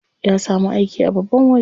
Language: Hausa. Ya samu aiki a babban waje.